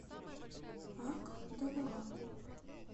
ак довураку